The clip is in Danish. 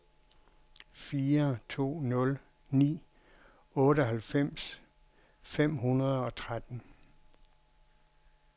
fire to nul ni otteoghalvfems fem hundrede og tretten